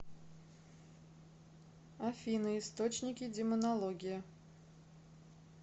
афина источники демонология